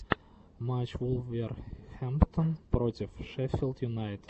матч вулверхэмптон против шеффилд юнайтед